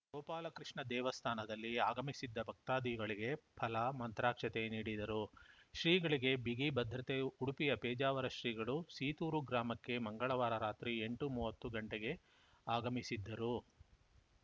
ಗೋಪಾಲಕೃಷ್ಣ ದೇವಸ್ಥಾನದಲ್ಲಿ ಆಗಮಿಸಿದ್ದ ಭಕ್ತಾದಿಗಳಿಗೆ ಫಲ ಮಂತ್ರಾಕ್ಷತೆ ನೀಡಿದರು ಶ್ರೀಗಳಿಗೆ ಬಿಗಿ ಭದ್ರತೆ ಉಡುಪಿಯ ಪೇಜಾವರ ಶ್ರೀಗಳು ಸೀತೂರು ಗ್ರಾಮಕ್ಕೆ ಮಂಗಳವಾರ ರಾತ್ರಿ ಎಂಟು ಮೂವತ್ತು ಗಂಟೆಗೆ ಆಗಮಿಸಿದ್ದರು